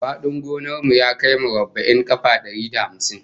Fadin gonar mu ya kai murabba'in kafa dari da hamsin